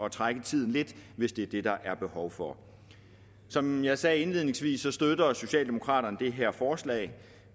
at trække tiden lidt hvis det er det der er behov for som jeg sagde indledningsvis støtter socialdemokraterne det her forslag